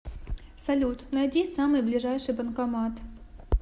салют найди самый ближайший банкомат